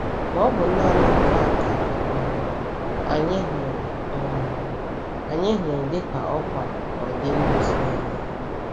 Ma ọ bụ naanị nke a ka um anyị hụrụ um anyị hụrụ dị ka ọkwa n’ọdị ndụ Sọlọmọn?